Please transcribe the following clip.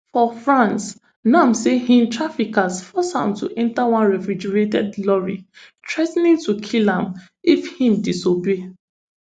for france nam say im traffickers force am to enter one refrigerated lorry threa ten ing to kill am if im disobey